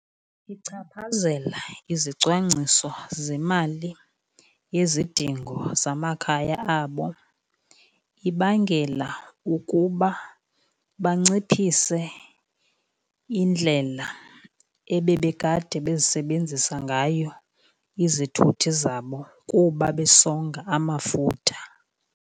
Ichaphazela izicwangciso zemali yezidingo zamakhaya abo. Ibangela ukuba banciphise indlela ebebekade bezisebenzisa ngayo izithuthi zabo kuba besonga amafutha.